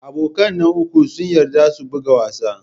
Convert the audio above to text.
Abokan nan uku sun yarda su buga wasa.